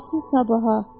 Qalsın sabaha.